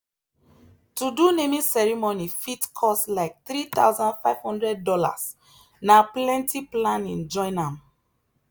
to do naming ceremony fit cost like $3500 na plenty planning join am.